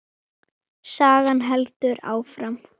Sagan heldur áfram.